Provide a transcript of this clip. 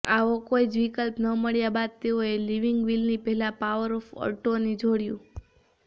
આવો કોઈજ વિકલ્પ ન મળ્યાં બાદ તેઓએ લિવિંગ વિલની પહેલાં પાવર ઓફ અર્ટોની જોડ્યું